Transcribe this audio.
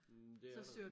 Mh det er der